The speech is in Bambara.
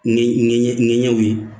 Ni , ni ye , ni ye